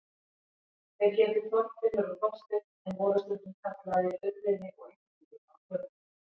Þeir hétu Þorfinnur og Þorsteinn en voru stundum kallaðir Urriði og Indriði á tökustað.